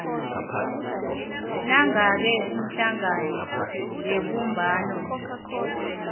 nangabe ihlangano yebumbano